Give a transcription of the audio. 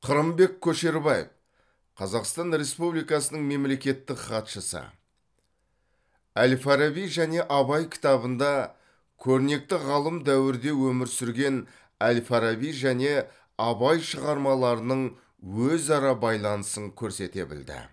қырымбек көшербаев қазақстан республикасының мемлекеттік хатшысы әл фараби және абай кітабында көрнекті ғалым дәуірде өмір сүрген әл фараби және абай шығармаларының өзара байланысын көрсете білді